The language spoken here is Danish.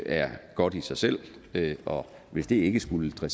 er godt i sig selv og hvis det ikke skulle